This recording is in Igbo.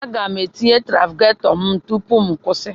Aga m etinye trafigetọ m tupu m kwụsị.